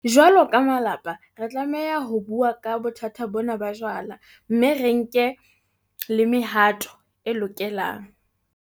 Jwalo ka malapa, re tlameha ho bua ka bothata bona ba jwala mme re nke le mehato e lokelang.